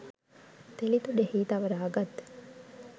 තෙලිතුඩෙහි තවරාගත්